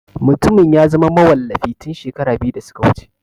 Mutumin ya zama mawallafi tun shekaru biyu da suka wuce.